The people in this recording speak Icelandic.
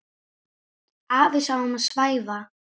Afi sá um að svæfa.